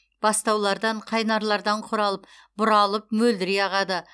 бастаулардан қайнарлардан құралып бұралып мөлдірей ағады